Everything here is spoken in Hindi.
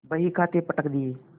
बहीखाते पटक दिये